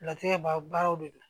Latigɛ baraw de don